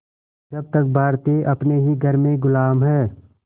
जब तक भारतीय अपने ही घर में ग़ुलाम हैं